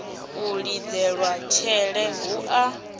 u lidzelwa tshele hu a